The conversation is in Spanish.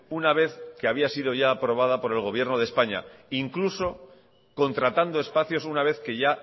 una vez que había sido ya aprobada por el gobierno de españa incluso contratando espacios una vez que ya